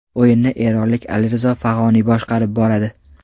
O‘yinni eronlik Alirizo Fag‘oniy boshqarib boradi.